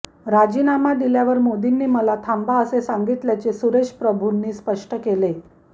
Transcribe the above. राजीनामा दिल्यावर मोदींनी मला थांबा असे सांगितल्याचे सुरेश प्रभूंनी स्पष्ट केले